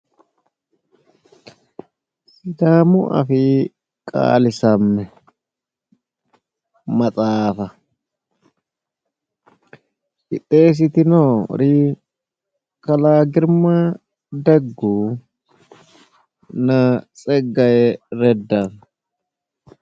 Sidaamu afii qaalisamme maxaafa qixxeessitinori kalaa girma deggunna tseggaaye redda.